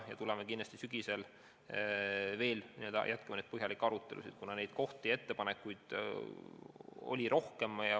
Tuleme selle juurde kindlasti sügisel tagasi ja jätkame põhjalikke arutelusid, kuna ettepanekuid on olnud rohkem.